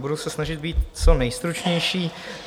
Budu se snažit být co nejstručnější.